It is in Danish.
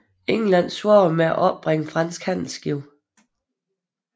England svarede med at opbringe franske handelsskibe